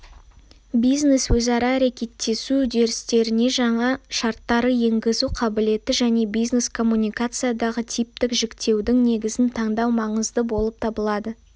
бизнес-өзара әрекеттесу үдерістеріне жаңа шарттарды енгізу қабілеті және бизнес-коммуникациядағы типтік жіктеудің негізін таңдау маңызды болып табылады